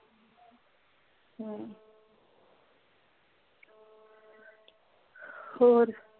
ਹੋਰ